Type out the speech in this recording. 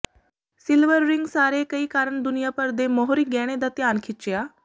silver ring ਸਾਰੇ ਕਈ ਕਾਰਨ ਦੁਨੀਆ ਭਰ ਦੇ ਮੋਹਰੀ ਗਹਿਣੇ ਦਾ ਧਿਆਨ ਖਿੱਚਿਆ